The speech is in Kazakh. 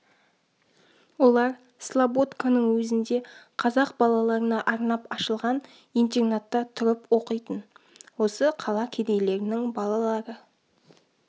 олар слободканың өзінде қазақ балаларына арнап ашылған интернатта тұрып оқитын осы қала кедейлерінің балалары